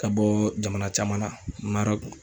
Ka bɔ jamana caman na MARƆKU.